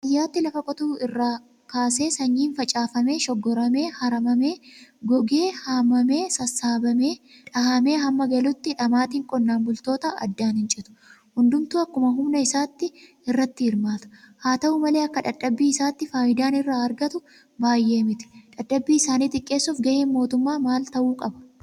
Baadiyyaatti Lafa qotuu irraa kaasee sanyiin facaafamee, Shoggoramee, Haramamee, gogee haamamee, Sassaabamee dhahamee hamma galutti dhamaatiin qonnaan bultoota addaan hincitu. Hundumtuu akkuma humna isaatti irratti hirmaata. Haata'u malee akka dadhabbii isaatti faayidaan irraa argatu baay'ee miti. Dadhabbii isaanii xiqqeessuuf gaheen mootummaa maal ta'uu qaba?